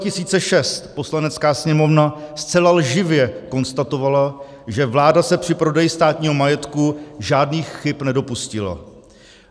Poslanecká sněmovna zcela lživě konstatovala, že vláda se při prodeji státních majetku žádných chyb nedopustila.